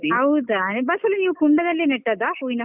ಹೌದಾ, ಬಸಳೆ ನೀವ್ ಕುಂಡದಲ್ಲೇ ನೆಟ್ಟದ್ದ ಹೂವಿನ ಕುಂಡದಲ್ಲಿ.